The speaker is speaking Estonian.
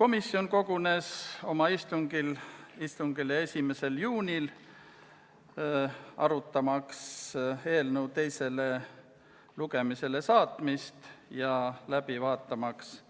Komisjon kogunes oma istungile 1. juunil, arutamaks eelnõu teisele lugemisele saatmist ja vaatamaks läbi